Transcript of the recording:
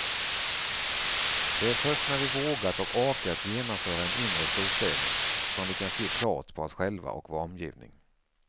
Det är först när vi vågat och orkat genomföra en inre storstädning som vi kan se klart på oss själva och vår omgivning.